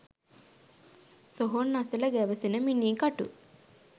සොහොන් අසල ගැවසෙන මිනී කටු